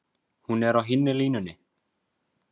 Hún er á hinni línunni.